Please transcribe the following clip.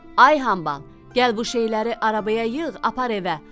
Ay hambal, gəl bu şeyləri arabaya yığ, apar evə!